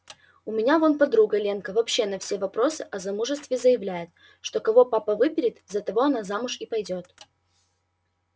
у меня вон подруга ленка вообще на все вопросы о замужестве заявляет что кого папа выберет за того она замуж и пойдёт